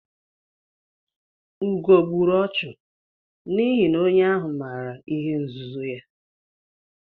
Ugo gburu ọchụ n'ihi na onye ahụ maara ihe nzuzo ya.